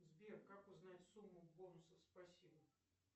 сбер как узнать сумму бонусов спасибо